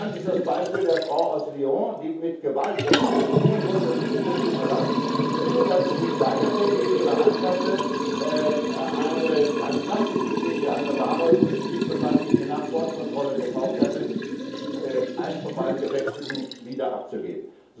Bekannt ist das Beispiel der Frau aus Lyon, die mit Gewalt gezwungen wurde, das Flugzeug zu verlassen, nur weil sie sich weigerte, entweder ihre Handtasche oder eine Plastiktüte, in der sich eine Ware befand, die sie nach der Bordkontrolle gekauft hatte, also eins von beiden Gepäckstücken wieder abzugeben.